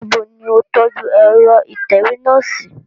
Nibo ni o tọju ẹrọ itẹwe náa si?